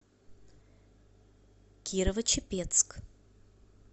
кирово чепецк